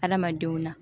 Hadamadenw na